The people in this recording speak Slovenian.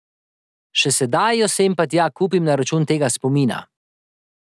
Še sedaj jo sem pa tja kupim na račun tega spomina.